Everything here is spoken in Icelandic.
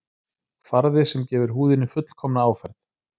Farði sem gefur húðinni fullkomna áferð